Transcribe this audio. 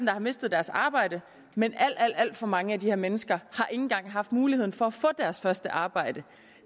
har mistet deres arbejde men alt alt for mange af de her mennesker har engang haft muligheden for at få deres første arbejde